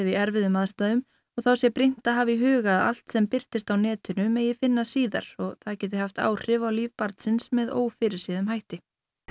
í erfiðum aðstæðum þá sé brýnt að hafa í huga að allt sem birtist á netinu megi finna síðar og það geti haft áhrif á líf barnsins með ófyrirséðum hætti